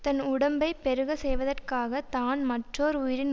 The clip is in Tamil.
தன் உடம்பைப் பெருக்க செய்வதற்காகத் தான் மற்றோர் உயிரின்